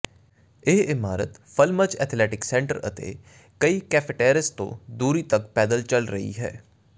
ਇਹ ਇਮਾਰਤ ਫਲੱਮਜ਼ ਐਥਲੈਟਿਕ ਸੈਂਟਰ ਅਤੇ ਕਈ ਕੈਫੇਟੇਰੇਅਸ ਤੋਂ ਦੂਰੀ ਤਕ ਪੈਦਲ ਚੱਲ ਰਹੀ ਹੈ